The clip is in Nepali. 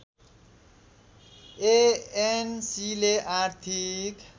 एएनसीले आर्थिक